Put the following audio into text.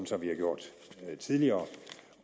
som vi har gjort tidligere